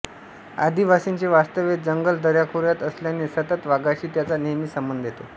आदिवासींचे वास्तव्य जंगल दऱ्याखोऱ्यात असल्याने सतत वाघाशी त्यांचा नेहमी संबंध येतो